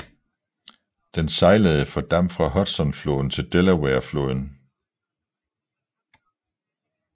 Den sejlede for damp fra Hudsonfloden til Delawarefloden